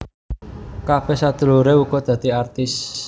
Kabeh sedulure uga dadi artis